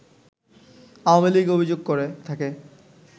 আওয়ামী লীগ অভিযোগ করে থাকে